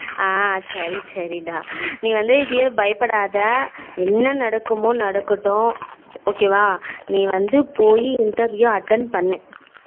அஹ் சரி சரி டா நீ வந்து இதே பயப்படாத என்ன நடக்குமோ நடக்கடும் நீ வந்து போய் interview attend பண்ணு